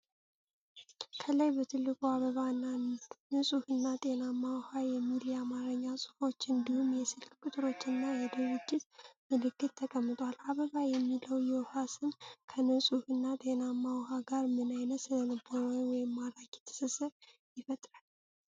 ከላይ በትልቁ “አበባ” እና “ንጹህና ጤናማ ውኃ” የሚሉ የአማርኛ ጽሑፎች እንዲሁም የስልክ ቁጥሮችና የድርጅት ምልክት ተቀምጧል።"አበባ" የሚለው የውኃ ስም ከንጹሕና ጤናማ ውኃ ጋር ምን ዓይነት ስነ-ልቦናዊ ወይም ማራኪ ትስስር ይፈጥራል?